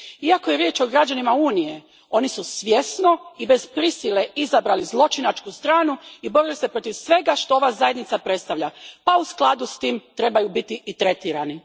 Iako je riječ o građanima Unije, oni su svjesno i bez prisile izabrali zločinačku stranu i borili se protiv svega što ova Zajednica predstavlja pa u skladu s tim trebaju biti i tretirani.